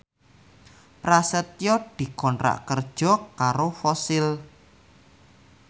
Prasetyo dikontrak kerja karo Fossil